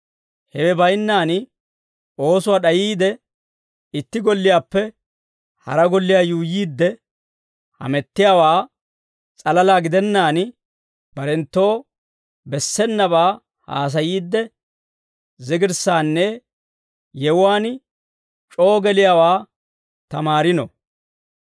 Hewe baynnaan oosuwaa d'ayiide itti golliyaappe hara golliyaa yuuyyiidde, hamettiyaawaa salalaa gidennaan, barenttoo bessenabaa haasayiidde, zigirssaanne yewuwaan c'oo geliyaawaa tamaariino.